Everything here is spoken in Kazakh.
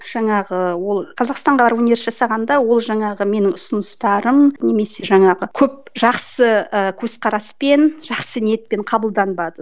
жаңағы ол қазақстанға жасағанда ол жаңағы менің ұсыныстарым немесе жаңағы көп жақсы ы көзқараспен жақсы ниетпен қабылданбады